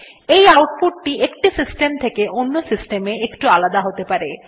এই আউটপুট একটি সিস্টেম থেকে অন্য সিস্টেম এ একটু আলাদা হতে পারে